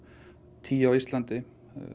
tíu á Íslandi